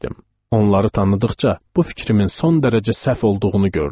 Onları tanıdıqca bu fikrimin son dərəcə səhv olduğunu gördüm.